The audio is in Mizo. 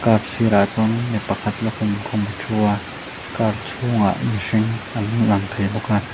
a sirah chuan mipa khat lukhum khum a thu a car chhung ah mihring an lang thei bawk a.